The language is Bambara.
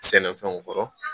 Sɛnɛfɛnw kɔrɔ